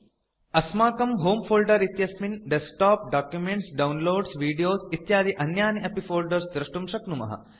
अस्माकं होमे फोल्डर इत्यस्मिन् डेस्कटॉप डॉक्युमेंट्स् डाउनलोड्स वीडियोस् इत्यादि अन्यानि अपि फोल्डर्स् दृष्टुं शक्नुमः